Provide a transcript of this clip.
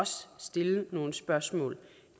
stille nogle spørgsmål